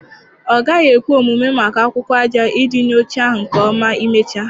Ọ gaghị ekwe omume maka akwụkwọ aja iji nye oche ahụ nke ọma imecha.